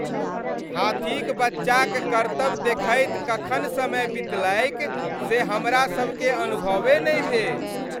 हाथीक बच्चाक करतब देखैत कखन समय बितलैक से हमरासभकेँ अनुभवे नहि भेल।